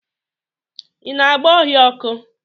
Ị na-agba ohia ọkụ?